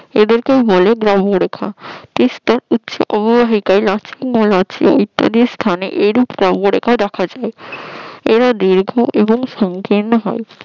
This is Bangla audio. এদেরকেই বলে ব্রাহ্ম রেখা পিষ্টে উচ্চ অববাহিক ইত্যাদি স্থানে এইরূপ ব্রাহ্ম রেখা দেখা যায়। এরা দীর্ঘ এবং সংকীর্ণ হয়।